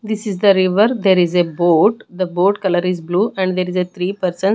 This is the river. There is a boat. The boat color is blue and there is a three person.